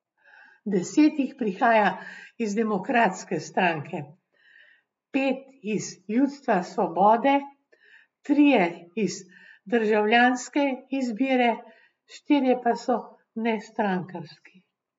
Deset jih prihaja iz Demokratske stranke, pet iz Ljudstva svobode, trije iz Državljanske izbire, štirje pa so nestrankarski.